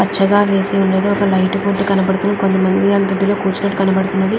పచ్చగా వేసి ఉన్నదీ. ఒక లైట్ బోర్డు కనబడుతున్నది. కొంతమంది కూర్చున్నట్టుగా కనబడుతున్నది.